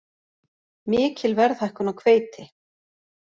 Mikil verðhækkun á hveiti